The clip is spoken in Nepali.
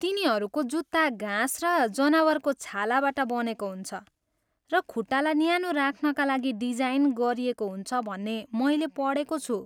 तिनीहरूको जुत्ता घाँस र जनावरको छालाबाट बनेको हुन्छ र खुट्टालाई न्यानो राख्नका लागि डिजाइन गरिएको हुन्छ भन्ने मैले पढेको छु।